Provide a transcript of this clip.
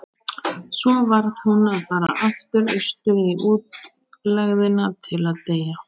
Svo varð hún að fara aftur austur í útlegðina til að deyja.